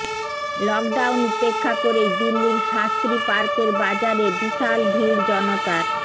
lockdown উপেক্ষা করেই দিল্লির শাস্ত্রী পার্কের বাজারে বিশাল ভিড় জনতার